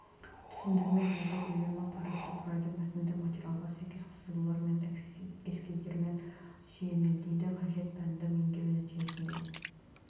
түсіндірме жазба көлемі парақты құрайды мәтіндік материалға сәйкес сызулар мен эскиздермен сүйелмелейді қажет пәнді меңгеру нәтижесінде